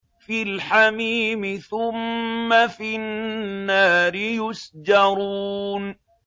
فِي الْحَمِيمِ ثُمَّ فِي النَّارِ يُسْجَرُونَ